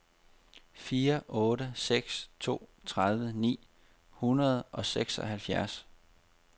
fire otte seks to tredive ni hundrede og seksoghalvfjerds